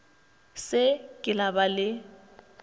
se ke la ba le